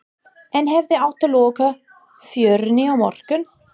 En hefði átt að loka fjörunni í morgun?